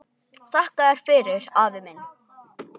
Þakka þér fyrir, afi minn.